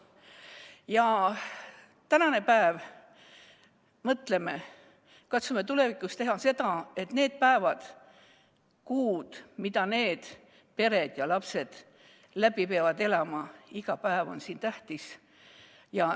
Mõtleme täna selle peale ja katsume tulevikus teha nii, et need päevad ja kuud, mida need pered ja lapsed läbi peavad elama – iga päev on siin tähtis.